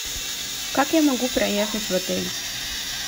как я могу проехать в отель